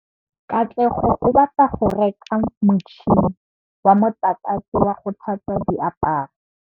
Katlego o batla go reka motšhine wa motlakase wa go tlhatswa diaparo.